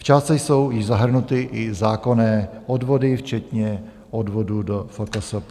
V částce jsou již zahrnuty i zákonné odvody včetně odvodů do FKSP.